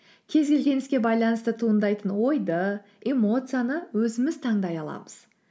кез келген іске байланысты туындайтын ойды эмоцияны өзіміз таңдай аламыз